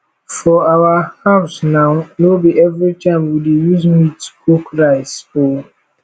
for our house now no be everytime we dey use meat cook rice oo